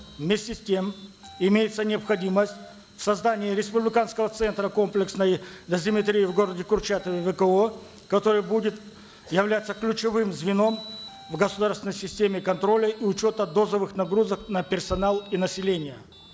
вместе с тем имеется необходимость в создании республиканского центра комплексной дозиметрии в городе курчатове вко который будет являться ключевым звеном в государственной системе контроля и учета дозовых нагрузок на персонал и население